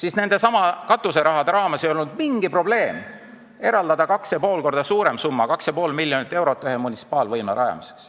Aga nendesamade katuserahade jagamisel ei olnud mingi probleem eraldada kaks ja pool korda suurem summa, 2,5 miljonit eurot ühe munitsipaalvõimla ehitamiseks.